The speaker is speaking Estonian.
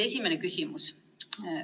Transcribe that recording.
Esimene küsimus.